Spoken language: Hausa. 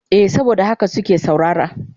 Eh saboda haka suke saurara.